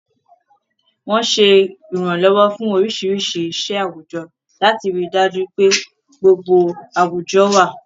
Wọ́n ń ṣe ìrànlọ́wọ́ fún oríṣiríṣi iṣẹ́ àwùjọ, láti rí i dájú pé gbogbo àwùjọ wà.